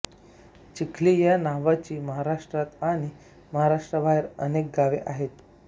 चिखली या नावाची महाराष्ट्रात आणि महाराष्ट्राबाहेर अनेक गावे आहेत